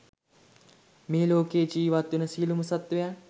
මේලෝකයේ ජීවත්වෙන සියලුම සත්වයන්